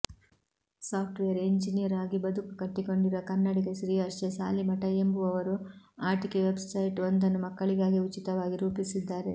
software engineer ಆಗಿ ಬದುಕು ಕಟ್ಟಿಕೊಂಡಿರುವ ಕನ್ನಡಿಗ ಶ್ರೀಹರ್ಷ ಸಾಲಿಮಠ ಎಂಬುವವರು ಆಟಿಕೆ ವೆಬ್ಸೈಟ್ ಒಂದನ್ನು ಮಕ್ಕಳಿಗಾಗಿ ಉಚಿತವಾಗಿ ರೂಪಿಸಿದ್ದಾರೆ